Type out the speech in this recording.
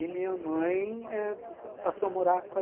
E minha mãe passou a morar com a